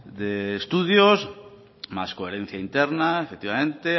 de estudios más coherencia interna efectivamente